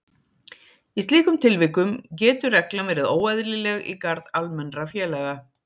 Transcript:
Í slíkum tilvikum getur reglan verið óeðlileg í garð almennra félaga.